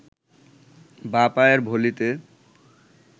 বাঁ পায়ের ভলিতে